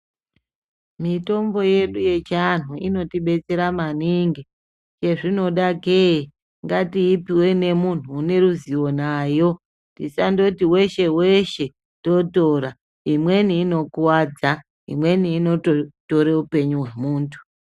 Mitombo yedu yechianhu inotibetsera maningi. Chezvinoda kei? Ngatiipiwe nemunhu une ruzivo nayo. Tisandoti weshe weshe-weshe totora. Imweni inokuwadza. Imweni inototore upenyu hwemuntu.